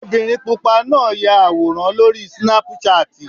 Obìnrin pupa náà ya àwòrán lórí Snapchat.